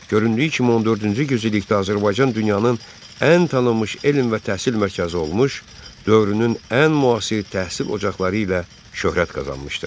Göründüyü kimi, 14-cü yüzillikdə Azərbaycan dünyanın ən tanınmış elm və təhsil mərkəzi olmuş, dövrünün ən müasir təhsil ocaqları ilə şöhrət qazanmışdır.